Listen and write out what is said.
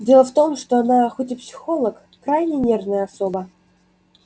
дело в том что она хоть и психолог крайне нервная особа